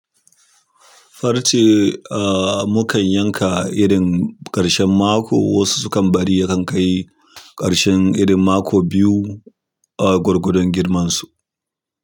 Farce mu kan yanka irin ƙarshen mako, wasu su kan bari ya kai ƙarshen irin mako biyu a gwargwadon girmansu.